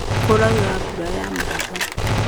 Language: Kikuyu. Kũraura mbura ya mahiga